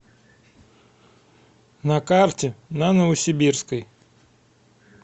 на карте на новосибирской